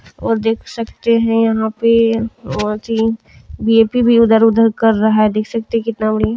और देख सकते है यहा पे देख सकते है कितना बढ़िया --